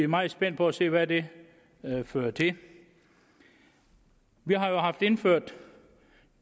meget spændt på at se hvad det fører til vi har jo indført